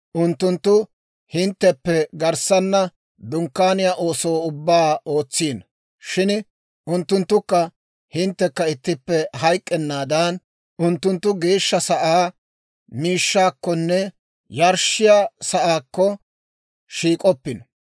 Unttunttu hintteppe garssana Dunkkaaniyaa ooso ubbaa ootsino; shin unttunttukka hinttekka ittippe hayk'k'ennaadan, unttunttu geeshsha sa'aa miishshaakkonne yarshshiyaa saakko shiik'oppino.